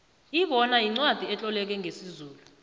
ibona yincwacli etloleke ngesizulu